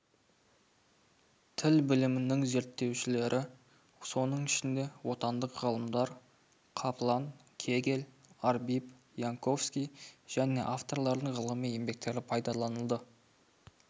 тіл білімінің зерттеушілері соның ішінде отандық ғалымдар каплан кегел арбиб янковски және авторлардың ғылыми еңбектері пайдаланылды